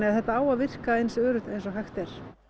þetta á að virka eins öruggt eins og hægt er